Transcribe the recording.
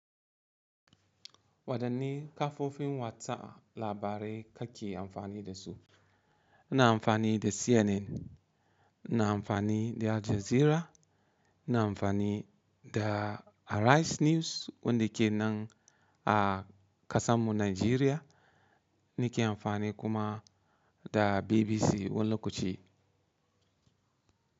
Wadanne kafofin watsa labarai kake amfani da su? Ina amfani da CNN, ina amfani da Al Jazeera, ina amfani da Arise News wanda ke nan a ƙasanmu Nigeria, nike amfani kuma da BBC wani lokaci.